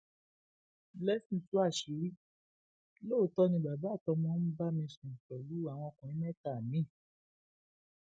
blessing tú àṣírí lóòótọ ni bàbá àtọmọ ń bá mi sùn pẹlú àwọn ọkùnrin mẹta mi